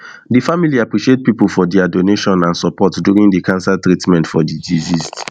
di family appreciate pipo for dia donation and support during di cancer treatment for di deceased